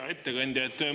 Hea ettekandja!